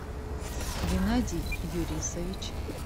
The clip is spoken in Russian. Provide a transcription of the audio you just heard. геннадий юрисович